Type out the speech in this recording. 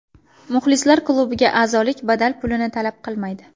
Muxlislar klubiga azolik badal pulini talab qilmaydi.